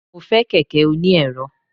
mo fe kẹkẹ oní erò